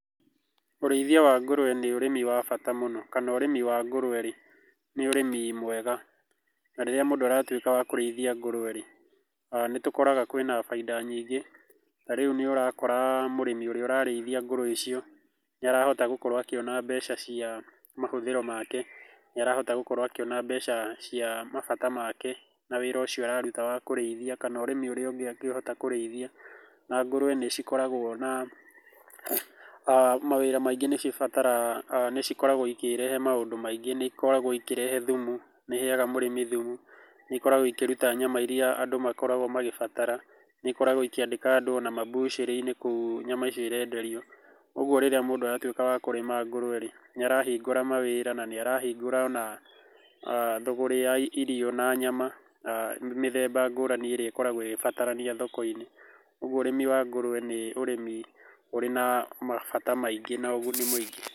Ũrĩithia wa ngũrũwe nĩ ũrĩmi wa bata mũno kana ũrĩmi wa ngũrũwe rĩ, nĩ ũrĩmi mwega na rĩrĩa mũndũ aratuĩka wa kũrĩithia ngũrũwe rĩ, nĩ tũkoraga kwĩ na bainda nyingĩ, ta rĩu nĩ ũrakora mũrĩmi ũrĩa ũrarĩithia ngũrũwe icio, nĩ arahota gũkorwo akĩona mbeca cia mahũthĩro make, nĩ arahota gũkorwo akĩona mbeca cia mabata make na wĩra ũcio araruta wa kũrĩithia, kana ũrĩmi ũrĩa ũngĩ angĩhota kũrĩithia. Na ngũrũwe nĩ cikoragwo na aah mawĩra maingĩ nĩ cibataraga nĩ cikoragwo cikĩrehe maũndũ maingĩ, nĩ ikoragwo ikĩrehe thumu, nĩ iheaga mũrĩmi thumu, nĩ ikoragwo ikĩruta nyama irĩa andũ makoragwo magĩbatara, nĩ ikoragwo ikĩandĩka andũ ona mambucĩrĩ-inĩ kũu nyama icio irenderio, koguo rĩrĩa mũndũ aratuĩka wa kũrĩma ngũrũwe rĩ, nĩ arahingũra mawĩra na nĩarahingũra ona thũgũrĩ ya irio na nyama na mĩthemba ngũrani ĩrĩa ikoragwo ĩgĩbatarania thoko-inĩ, ũguo ũrĩmi wa ngũrũwe nĩ ũrĩmi ũrĩ na mabata maingĩ na ũguni mũingĩ.